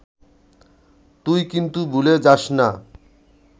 তুই কিন্তু ভুলে যাস না